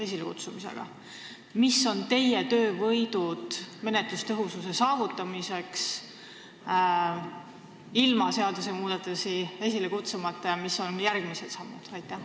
Millised on teie töövõidud menetluse tõhususe saavutamisel ilma seadusmuudatusi esile kutsumata ja mis on järgmised sammud?